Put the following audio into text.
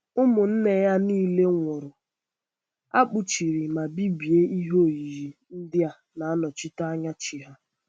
Ụmụnne ya niile nwụrụ, um a kpuchiri ma bibie ihe oyiyi ndị na-anọchite anya chi ya.